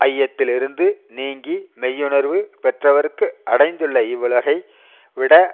ஐயத்திலிருந்து நீங்கி மெய்யுணர்வு பெற்றவர்க்கு அடைந்துள்ள இவ்வுலகை விட